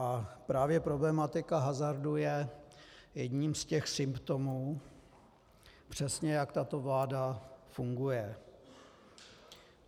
A právě problematika hazardu je jedním z těch symptomů, přesně jak tato vláda funguje.